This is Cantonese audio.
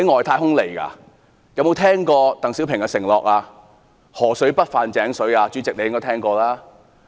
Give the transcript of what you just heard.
他們有否聽過鄧小平"河水不犯井水"的承諾？